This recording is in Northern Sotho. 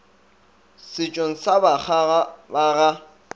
setšong sa bakgaga ba ga